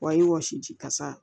Wa i wɔsi ji kasa